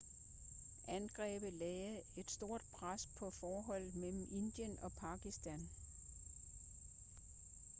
angrebet lagde et stort pres på forholdet mellem indien og pakistan